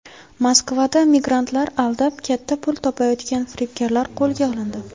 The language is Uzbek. Moskvada migrantlarni aldab katta pul topayotgan firibgarlar qo‘lga olindi.